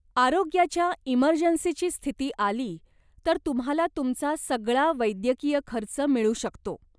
आरोग्याच्या इमर्जन्सीची स्थिती आली तर तुम्हाला तुमचा सगळा वैद्यकीय खर्च मिळू शकतो.